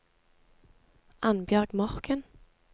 Annbjørg Morken